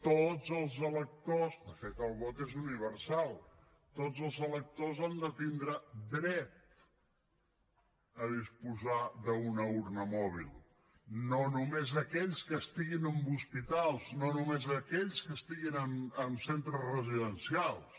tots els electors de fet el vot és universal han de tindre dret a disposar d’una urna mòbil no només aquells que estiguin en hospitals no només aquells que estiguin en centres residencials